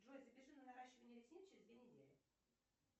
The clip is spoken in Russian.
джой запиши на наращивание ресниц через две недели